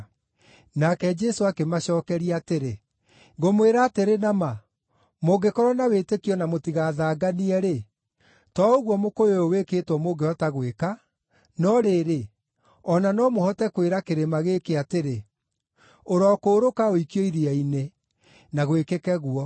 Nake Jesũ akĩmacookeria atĩrĩ, “Ngũmwĩra atĩrĩ na ma, mũngĩkorwo na wĩtĩkio na mũtigathanganie-rĩ, to ũguo mũkũyũ ũyũ wĩkĩtwo mũngĩhota gwĩka, no rĩrĩ, o na no mũhote kwĩra kĩrĩma gĩkĩ atĩrĩ, ‘Ũrokũũrũka ũikio iria-inĩ,’ na gwĩkĩke ũguo.